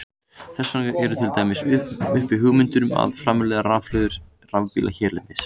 Þess vegna eru til dæmis uppi hugmyndir um að framleiða rafhlöður í rafbíla hérlendis.